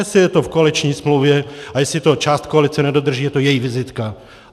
Jestli je to v koaliční smlouvě a jestli to část koalice nedodrží, je to její vizitka.